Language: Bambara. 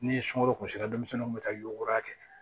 Ni sunkalo kun sera denmisɛnninw kun bɛ taa y goroya kɛ